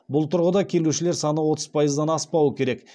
бұл тұрғыда келушілер саны отыз пайыздан аспауы керек